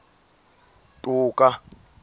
toka